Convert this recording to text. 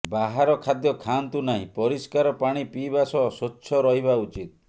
ବାହାର ଖାଦ୍ୟ ଖାଆନ୍ତୁନାହିଁ ପରିଷ୍କାର ପାଣି ପିଇବା ସହ ସ୍ୱଚ୍ଛ ରହିବା ଉଚିତ୍